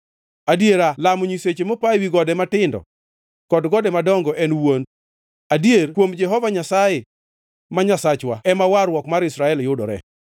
Adiera lamo nyiseche mopa ewi gode matindo, kod gode madongo en wuond; adier kuom Jehova Nyasaye, ma Nyasachwa, ema warruok mar Israel yudore.